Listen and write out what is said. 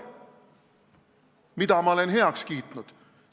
Mida ma olen heaks kiitnud?